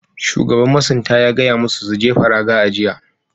Shugaban masunta ya gaya musu su jefa raga a jiya.